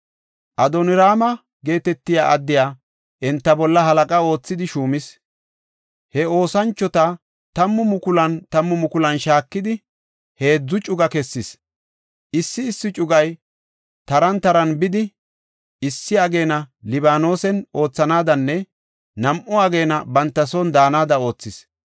Adonraama geetetiya addiya enta bolla halaqa oothidi shuumis. He oosanchota tammu tammu mukulan shaakidi, heedzu cuga kessis; issi issi cugay taran taran bidi, issi ageena Libaanosen oothanaadanne nam7u ageena banta son daanada oothis.